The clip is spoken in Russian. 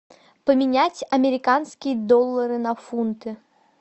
поменять американские доллары на фунты